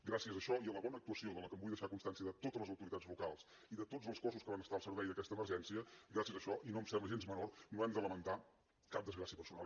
gràcies a això i a la bona actuació de la qual vull deixar constància de totes les autoritats locals i de tots els cossos que van estar al servei d’aquesta emergència gràcies a això i no em sembla gens menor no hem de lamentar cap desgràcia personal